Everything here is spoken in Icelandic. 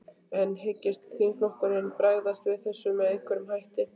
En hyggst þingflokkurinn bregðast við þessu með einhverjum hætti?